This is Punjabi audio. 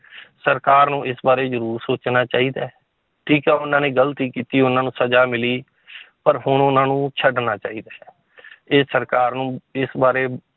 ਸਰਕਾਰ ਨੂੰ ਇਸ ਬਾਰੇ ਜ਼ਰੂਰ ਸੋਚਣਾ ਚਾਹੀਦਾ ਹੈ, ਠੀਕ ਹੈ ਉਹਨਾਂ ਨੇ ਗ਼ਲਤੀ ਕੀਤੀ ਉਹਨਾਂ ਨੂੰ ਸਜ਼ਾ ਮਿਲੀ ਪਰ ਹੁਣ ਉਹਨਾਂ ਨੂੰ ਛੱਡਣਾ ਚਾਹੀਦਾ ਹੈ ਇਹ ਸਰਕਾਰ ਨੂੰ ਇਸ ਬਾਰੇ